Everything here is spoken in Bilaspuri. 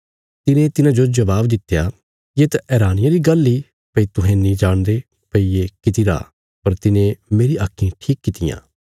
तिने तिन्हाजो जबाब दित्या येत हैरानिया री गल्ल इ भई तुहें नीं जाणदे भई ये किति रा पर तिने मेरी आक्खीं ठीक कित्तियां